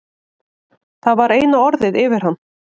Það var eina orðið yfir hann.